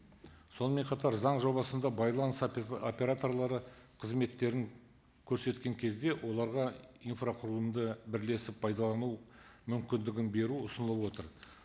сонымен қатар заң жобасында байланыс операторлары қызметтерін көрсеткен кезде оларға инфрақұрылымды бірлесіп пайдалану мүмкіндігін беру ұсынылып отыр